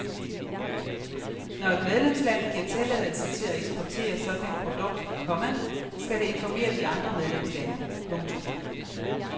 Når et medlemsland giver tilladelse til at eksportere sådan et produkt, komma skal det informere de andre medlemslande. punktum